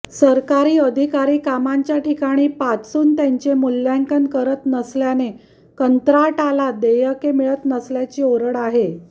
सरकारी अधिकारी कामांच्या ठिकाणी पाचून त्यांचे मूल्यांकन करत नसल्याने कंत्राटारला देयके मिळत नसल्याची ओरड आहे